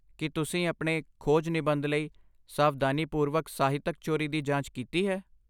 ਕੀ ਤੁਸੀਂ ਆਪਣੇ ਖੋਜ ਨਿਬੰਧ ਲਈ ਸਾਵਧਾਨੀਪੂਰਵਕ ਸਾਹਿਤਕ ਚੋਰੀ ਦੀ ਜਾਂਚ ਕੀਤੀ ਹੈ?